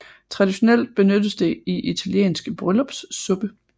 Traditionelt benyttes det i italiensk bryllupssuppe